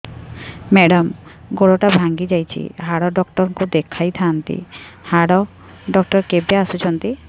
madam ଗୋଡ ଟା ଭାଙ୍ଗି ଯାଇଛି ହାଡ ଡକ୍ଟର ଙ୍କୁ ଦେଖାଇ ଥାଆନ୍ତି ହାଡ ଡକ୍ଟର କେବେ ଆସୁଛନ୍ତି